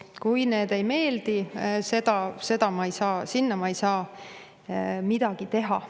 Kui need ei meeldi, siis sinna ma ei saa midagi parata.